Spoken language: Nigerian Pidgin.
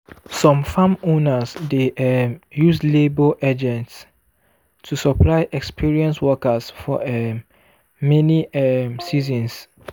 some farm owners dey um use labour agents to supply experienced workers for um many um seasons.